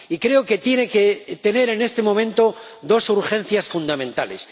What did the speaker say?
Y creo que tiene que tener en este momento dos urgencias fundamentales.